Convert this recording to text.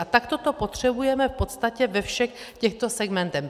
A takto to potřebujeme v podstatě ve všech těchto segmentech.